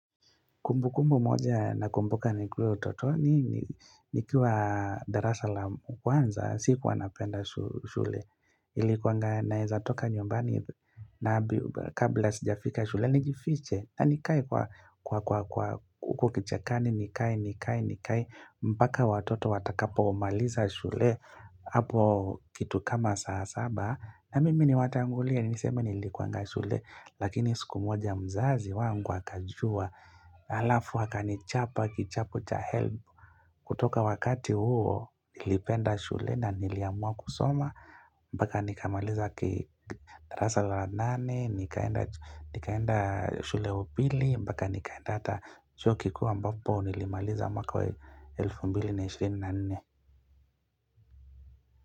Kumbu kumbu moja na kumbuka nikiwa utotoni, nikiwa darasa la kwanza, siku wanapenda shule. Ilikuanga naeza toka nyumbani na kabla sijafika shule, nijifiche, na nikae kwa kukichakani, nikae, nikae, nikae. Mpaka watoto watakapo maliza shule, hapo kitu kama saa saba. Na mimi ni watangulia ni niseme nilikuwa nga shule lakini siku moja mzazi wangu akajua alafu akani chapa kichapo cha help kutoka wakati huo nilipenda shule na niliamua kusoma mpaka nikamaliza darasa la nane nikaenda shule ya upili mpaka nikaenda hata chuo kikuu ambapo nilimaliza mwaka wa 2024.